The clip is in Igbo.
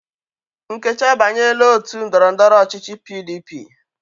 Nkechi abanyela ótù ndọrọ ndọrọ ọchịchị PDP.